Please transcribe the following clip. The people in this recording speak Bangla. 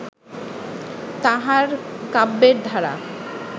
তাঁহার কাব্যের ধারা